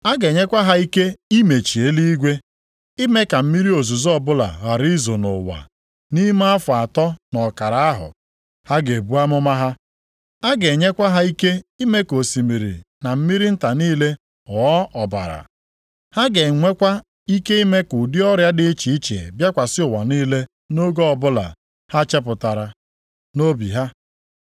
A ga-enyekwa ha ike imechi eluigwe ime ka mmiri ozuzo ọbụla ghara izo nʼụwa nʼime afọ atọ na ọkara ahụ ha ga-ebu amụma ha. A ga-enyekwa ha ike ime ka osimiri na mmiri nta niile ghọọ ọbara. Ha ga-enwekwa ike ime ka ụdị ọrịa dị iche iche bịakwasị ụwa niile nʼoge ọbụla ha chepụtara nʼobi ha.